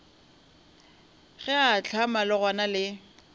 ge a ahlama legano le